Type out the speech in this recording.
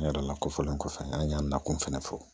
N yɛrɛ lakofɔlen kɔfɛ an y'a nakun fana fɔ